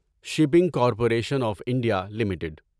shipping corporation of India limited